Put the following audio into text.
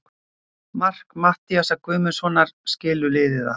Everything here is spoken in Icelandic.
Mark Matthíasar Guðmundssonar skilur liðin af.